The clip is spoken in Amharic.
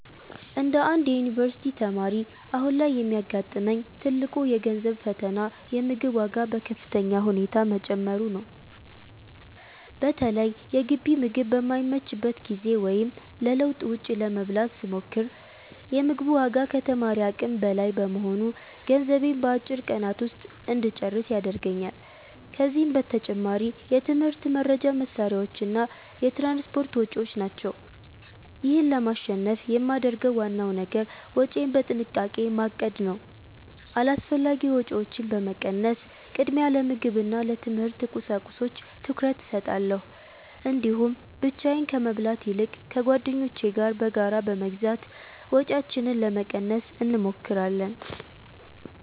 እንደ አንድ የዩኒቨርሲቲ ተማሪ፣ አሁን ላይ የሚያጋጥመኝ ትልቁ የገንዘብ ፈተና የምግብ ዋጋ በከፍተኛ ሁኔታ መጨመሩ ነው። በተለይ የግቢ ምግብ በማይመችበት ጊዜ ወይም ለለውጥ ውጭ ለመብላት ስሞክር፤ የ ምግቡ ዋጋ ከተማሪ አቅም በላይ በመሆኑ ገንዘቤን በአጭር ቀናት ውስጥ እንጨርስ ያደርገኛል። ከዚህም በተጨማሪ የትምህርት መርጃ መሣሪያዎችና የትራንስፖርት ወጪዎች ናቸው። ይህን ለማሸነፍ የማደርገው ዋናው ነገር ወጪዬን በጥንቃቄ ማቀድ ነው። አላስፈላጊ ወጪዎችን በመቀነስ፣ ቅድሚያ ለምግብና ለትምህርት ቁሳቁሶች ትኩረት እሰጣለሁ። እንዲሁም ብቻዬን ከመብላት ይልቅ ከጓደኞቼ ጋር በጋራ በመግዛት ወጪያችንን ለመቀነስ እንሞክራለን።